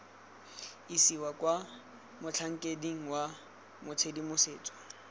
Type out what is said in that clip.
isiwa kwa motlhankeding wa tshedimosetso